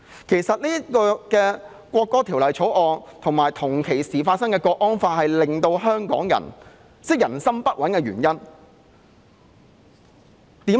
其實，《條例草案》及同時出現的港區國安法，是令香港人人心不穩的原因。